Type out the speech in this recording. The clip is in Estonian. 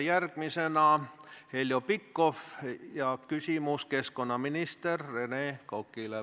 Järgmisena on Heljo Pikhofil küsimus keskkonnaminister Rene Kokale.